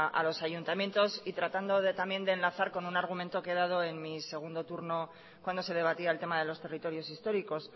a los ayuntamientos y tratando de también de enlazar con un argumento que he dado en mi segundo turno cuando se debatía el tema de los territorios históricos